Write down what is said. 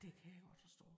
Det kan jeg godt forstå